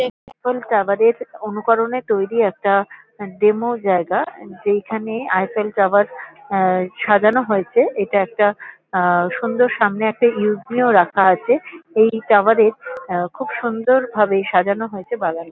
অনুকরণে তৈরী একটা ডেমো জায়গা যেইখানে আইফেল টাওয়ার আ সাজানো হয়েছে। এটা একটা আ সুন্দর সামনে একটা ইউস মি ও রাখা আছে। এই টাওয়ার এর আ খুব সুন্দরভাবে সাজানো হয়েছে বাগান --